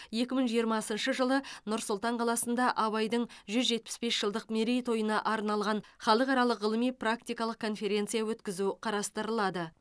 екі мың жиырмасыншы жылы нұр сұлтан қаласында абайдың жүз жетпіс бес жылдық мерейтойына арналған халықаралық ғылыми практикалық конференция өткізу қарастырылады